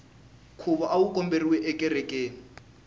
nkhuvo awu khomeriwe ekerekeni